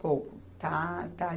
Pouco, tá, tá?